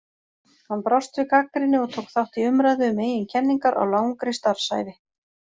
Hann brást við gagnrýni og tók þátt í umræðu um eigin kenningar á langri starfsævi.